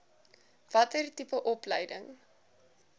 watter tipe opleiding